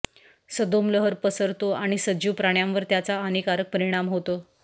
सदोम लहर पसरतो आणि सजीव प्राण्यांवर त्याचा हानीकारक परिणाम होतो